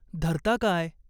"धरता काय ?